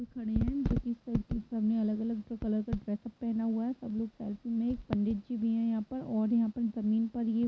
खड़े हैं जो कि सबसब ने अलग-अलग कलर का ड्रेसअप पहना हुआ है सब लोग सेल्फी में एक पंडित जी भी है यहाँ पर और यहाँ पर जमीन में --